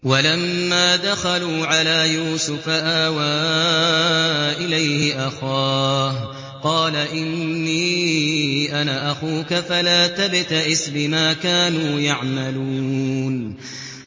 وَلَمَّا دَخَلُوا عَلَىٰ يُوسُفَ آوَىٰ إِلَيْهِ أَخَاهُ ۖ قَالَ إِنِّي أَنَا أَخُوكَ فَلَا تَبْتَئِسْ بِمَا كَانُوا يَعْمَلُونَ